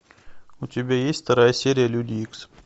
у тебя есть вторая серия люди икс